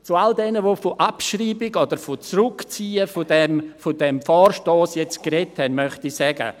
Zu all jenen, die von Abschreibung oder von Zurückziehen des Vorstosses gesprochen haben, möchte ich sagen: